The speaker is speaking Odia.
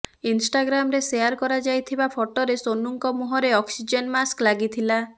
ଇଣଷ୍ଟାଗ୍ରାମରେ ସେୟାର କରାଯାଇଥିବା ଫଟୋରେ ସୋନୁଙ୍କ ମୁହଁରେ ଅକ୍ସିଜେନ ମାସ୍କ ଲାଗିଥିଲା